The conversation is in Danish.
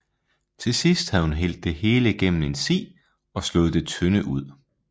Til sidst havde hun hældt det hele gennem en si og slået det tynde ud